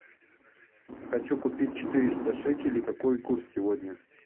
хочу купить четыреста шекелей какой курс сегодня